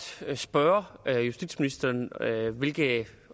spørge justitsministeren hvilke